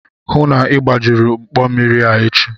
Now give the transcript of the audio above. Hụụ na Ị gbajuru mkpọ mmiri a echi!